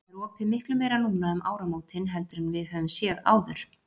Það er opið miklu meira núna um áramótin heldur en við höfum séð áður?